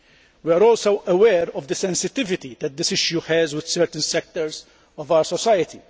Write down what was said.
We are also aware of the sensitivity that this has with certain sectors of our society.